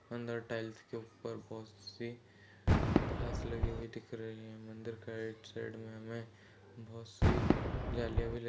अंदर टाइल्स के ऊपर बहुत- सी घास लगी हुई दिख रही है मंदिर के राइट साइड में हमें बहुत -सी जालियाँ भी लगी --